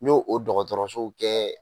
N y'o o dɔgɔtɔrɔso bɛɛ